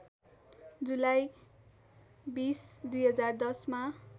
जुलाई २० २०१० मा